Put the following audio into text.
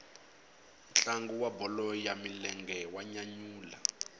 ntlangu wa bolo ya milenge wa nyanyula